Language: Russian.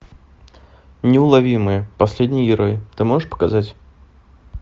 неуловимые последний герой ты можешь показать